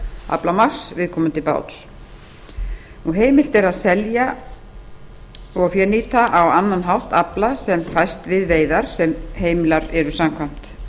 krókaaflamarks viðkomandi báts óheimilt er að selja eða fénýta á annan hátt afla sem fæst við veiðar sem heimilar eru samkvæmt